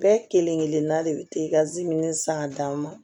Bɛɛ kelen kelenna de bɛ san ka d'a ma